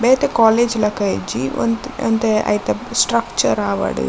ಬೇತೆ ಕೋಲೇಜ್ ಲಕ ಇಜ್ಜಿ ಒಂತ್ ಒಂತೆ ಐತ ಸ್ಟ್ರಕ್ಚರ್ ಆವಡ್ --